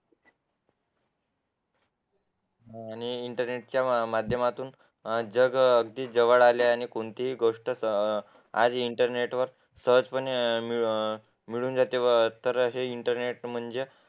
आणि इंटरनेटच्या माध्यमातून जग किती जवळ आले आहे आणि ती गोष्ट आज इंटरनेटवर सहजपणे मिळू अं जाते तेव्हा तर हे इंटरनेट म्हणजे